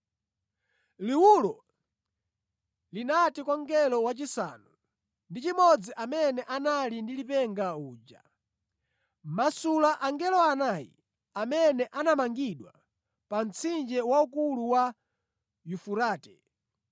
Liwulo linati kwa mngelo wachisanu ndi chimodzi amene anali ndi lipenga uja, “Masula angelo anayi amene anamangidwa pa mtsinje waukulu wa Yufurate.”